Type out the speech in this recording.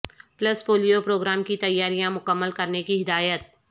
plus polio programme کی تیاریاں مکمل کرنے کی ہدایت